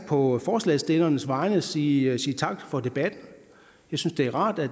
på forslagsstillernes vegne sige tak for debatten jeg synes det er rart at